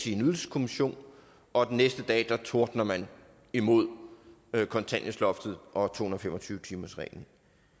i en ydelseskommission og den næste dag tordner man imod kontanthjælpsloftet og to hundrede og fem og tyve timersreglen